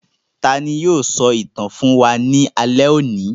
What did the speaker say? Tani yóò sọ ìtàn fún wa ní alẹ́ òní?